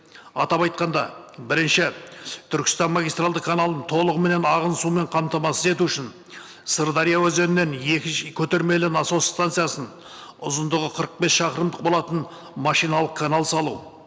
атап айтқанда бірінші түркістан магистралды каналының толығыменен ағын сумен қамтамасыз ету үшін сырдария өзенінен екінші көтермелі насос станциясын ұзындығы қырық бес шақырымдық болатын машиналық канал салу